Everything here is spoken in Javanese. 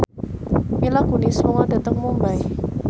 Mila Kunis lunga dhateng Mumbai